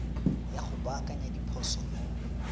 ya go baakanya diphoso mo